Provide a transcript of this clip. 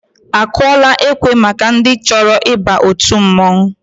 Akụọla ekwe maka ndị chọrọ ịba òtù mmọnwụ?